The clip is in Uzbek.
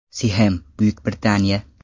Sixem, Buyuk Britaniya.